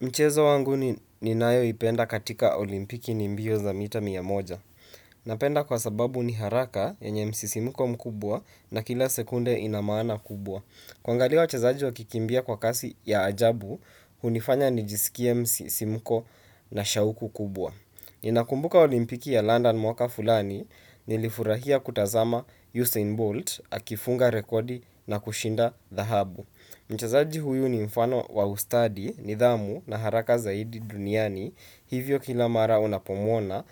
Mchezo wanguni ni nayo ipenda katika olimpiki ni mbio za mita mia moja. Napenda kwa sababu ni haraka ye nye msisimko mkubwa na kila sekunde inamaana kubwa. Kuangaliawa chezaji wa kikimbia kwa kasi ya ajabu, hunifanya ni jisikie msisimko na shauku kubwa. Ninakumbuka olimpiki ya London mwaka fulani, nilifurahia kutazama Usain Bolt, akifunga rekodi na kushinda dhahabu. Mchezaji huyu ni mfano wa ustadi, nidhamu na haraka zaidi duniani, hivyo kila mara unapomwona,